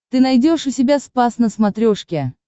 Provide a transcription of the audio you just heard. ты найдешь у себя спас на смотрешке